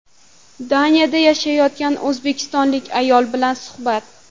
Daniyada yashayotgan o‘zbekistonlik ayol bilan suhbat.